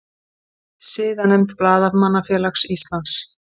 Siðanefnd Blaðamannafélags Íslands